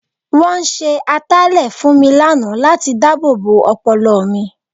Wọ́n ṣe ataalẹ̀ fún mi lánàá láti dáàbòbo ọpọlọ mi.